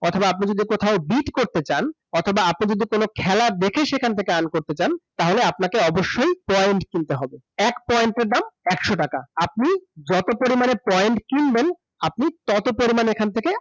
অথবা আপনি যদি কথাও bid করতে চান অথবা আপনি যদি কোন খেলা দেখে সেখান থেকে earn করতে চান, তাহলে আপনাকে অবশ্যই point কিনতে হবে । এক point এর দাম একশ টাকা । আপনি যত পরিমাণে point কিনবেন আপনি তত পরিমাণে এখান থেকে